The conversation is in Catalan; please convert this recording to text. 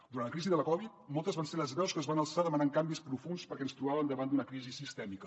durant la crisi de la covid moltes van ser les veus que es van alçar demanant canvis profunds perquè ens trobàvem davant d’una crisi sistèmica